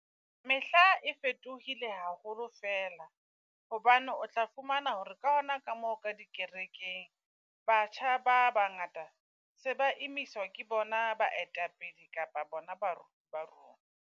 Mehla e fetohile haholo fela. Hobane o tla fumana hore ka hona ka mo ka dikerekeng, batjha ba bangata se ba emiswa ke bona baetapele kapa bona baruti ba rona.